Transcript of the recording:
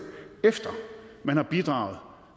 efter man har bidraget